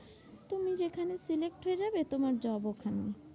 তুমি যেখানে select হয়ে যাবে, তোমার job ওখানে।